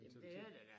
Jamen det er der da